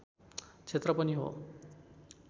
क्षेत्र पनि हो